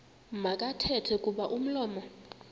makathethe kuba umlomo